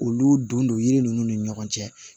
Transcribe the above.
Olu don don yiri ninnu ni ɲɔgɔn cɛ